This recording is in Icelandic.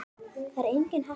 Það er engin heppni.